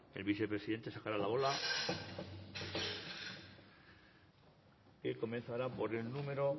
el vicepresidente sacará la bola que comenzará por el número